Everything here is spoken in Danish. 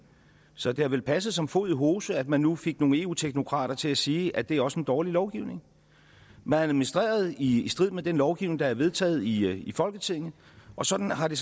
så det har vel passet som fod i hose at man nu fik nogle eu teknokrater til at sige at det også er en dårlig lovgivning man administrerede i strid med den lovgivning der er vedtaget i folketinget og sådan har det